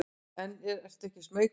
En ertu ekki smeykur?